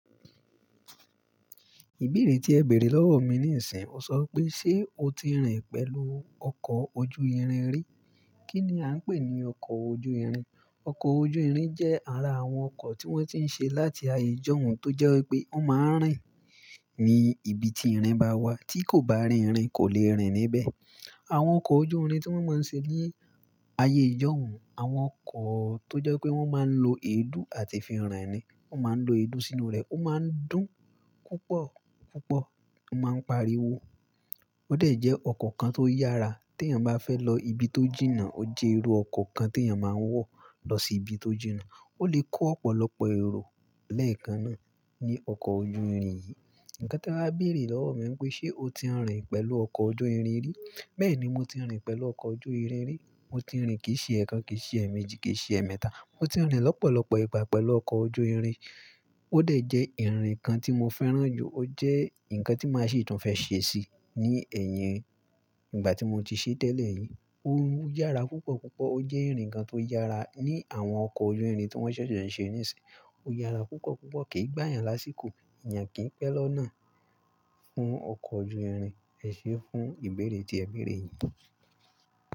Ìbéèrè tí ẹ bèrè lọ́wọ́ mi níìsín, ó sọ pé ṣe o ti rìn pẹ̀lú ọkọ̀ ojú irin rí? Kí ni a ń pè ní ọkọ̀ ojú irin? Ọkọ̀ ojú irin jẹ́ ara àwọn ọkọ̀ tí wọ́n ti ń ṣe láti ayé ìjọ̀hún tó jẹ́ pé wọ́n máa ń rìn ní ibi tí irin bá wà tí kò bá rí irin kò lè rìn níbẹ̀. Àwọn ọkọ̀ ojú irin tí wọ́n máa ń ṣe ní ayé ìjọ̀hún, àwọn ọkọ̀ tó jẹ́ pé wọ́n máa ń lo èédú àti fi rin ni. Wọ́n máa ń lo èédú sínú rẹ̀, ó máa ń dún púpọ̀ púpọ̀, ó máa ń pariwo. Ó dà jẹ ọkọ̀ kan tó yára tí èèyàn bá fẹ́ lọ ibi tó jìnnà, ó jẹ́ irú ọkọ̀ kan tí èèyàn máa ń wọ̀ lọ sí ibi tó jìnnà. Ó lè kó ọ̀pọ̀lọpọ̀ èrò lẹ́ẹ̀kan náà ní ọkọ̀ ojú irin yìí. Ǹkan tí e wá bèrè lọ́wọ́ mi pé ṣe o ti rìn pẹ̀lú ọkọ̀ ojú irin rí? Bẹ́ẹ̀ni, mo ti rìn pẹ̀lú ọkọ̀ ojú irin rí. Mo ti rìn kì í ṣe ẹ̀ẹ́kan, kì í ṣe ẹ̀ẹ̀méjì, kì í ṣe ẹ̀ẹ̀mẹ́ta. Mo ti rìn lọ́pọ̀lọpọ̀ ìgbà pẹ̀lú ọkọ̀ ojú irin. Ó dà jẹ́ ìrìn kan tí mo fẹ́ràn jù. Ó jẹ́ ǹkan tí màá ṣì tún fẹ́ ṣèṣì ní ẹ̀yìn ìgbà tí mo ti ṣe tẹ́lẹ̀ yìí. Ó yára púpọ̀ púpọ̀. Ó jẹ́ ìrìn kan tó yára. Ní àwọn ọkọ̀ ojú irin tí wọ́n sẹsẹ ń ṣe níìsín, ó yára púpọ̀ púpọ̀. Kì í gbá èèyàn lásìkò. Èèyàn kí ń pẹ́ lọ́nà fún ọkọ̀ ojú irin. Ẹ ṣé fún ìbéèrè tí ẹ bèrè yìí.